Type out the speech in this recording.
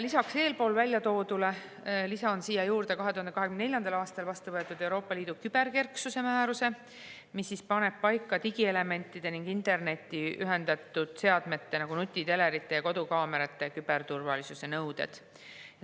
" Lisan eespool mainitule 2024. aastal vastu võetud Euroopa Liidu küberkerksuse määruse, mis paneb paika digielementide ja internetti ühendatud seadmete, nagu nutitelerite ja kodukaamerate küberturvalisuse nõuded.